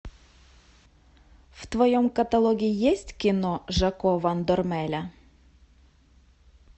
в твоем каталоге есть кино жако ван дормеля